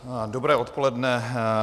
Dobré odpoledne.